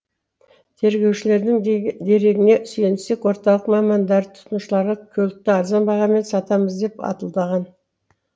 тергеушілердің дерегіне сүйенсек орталық мамандары тұтынушыларға көлікті арзан бағамен сатамыз деп алдаған